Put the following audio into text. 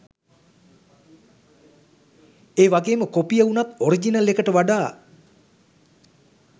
ඒවගේම කොපිය උනත් ඔරිජිනල් එකට වඩා